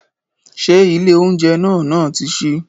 Ṣé ilé oúnjẹ náà náà ti ṣí?